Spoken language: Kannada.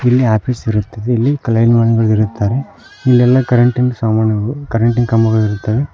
ಇಲ್ಲಿ ಆಫೀಸ್ ಇರುತ್ತೆದೆ ಇಲ್ಲಿ ಲೈನ್ ಮೆನ್ಗಳಿರುತ್ತಾರೆ ಇಲ್ಲೆಲ್ಲಾ ಕರೆಂಟಿನ್ ಸಾಮಾನುಗಳು ಕರೆಂಟಿನ ಕಂಬಗಳಿರುತ್ತವೆ.